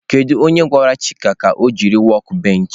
Kedu onye gwara chika ka o jiri workbench?